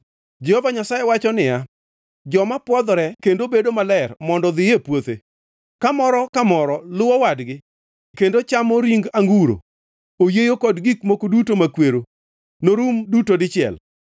Jehova Nyasaye wacho niya, “Joma pwodhore kendo bedo maler mondo odhiye puothe, kamoro ka moro luwo wadgi kendo chamo ring anguro, oyieyo kod gik moko duto makwero norum duto dichiel.